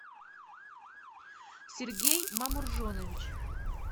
сергей мамуржонович